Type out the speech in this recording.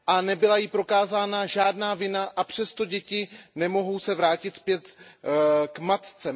Nebyla jí prokázána žádná vina a přesto se děti nemohou vrátit zpět k matce.